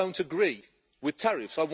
I don't agree with tariffs